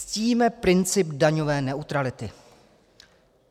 Ctíme princip daňové neutrality."